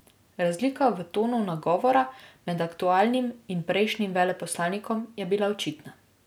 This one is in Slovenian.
Razlika v tonu nagovora med aktualnim in prejšnjim veleposlanikom je bila očitna.